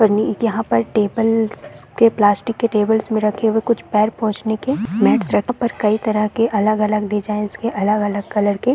यहाँ पर टेबलेट्स के प्लास्टिक की टेबल्स पर कुछ पर कुछ पैर पहुंचने के मैटस कई तरह के अलग-अलग डिजाइंस के अलग-अलग कलर के--